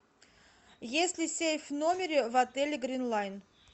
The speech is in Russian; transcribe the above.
есть ли сейф в номере в отеле гринлайн